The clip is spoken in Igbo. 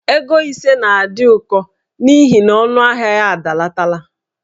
Ego ise na-adị ụkọ n'ihi na ọnụahịa ya adalatala.